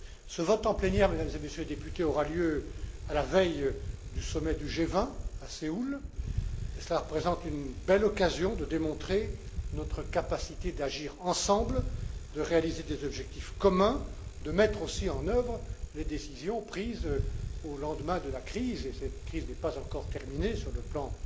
Ce vote en plénière, Mesdames et Messieurs les députés, aura lieu à la veille du Sommet du G20, à Séoul, et cela représente une belle occasion de démontrer notre capacité d'agir ensemble, de réaliser des objectifs communs, de mettre aussi en œuvre les décisions prises au lendemain de la crise et cette crise n'est pas encore terminée sur le plan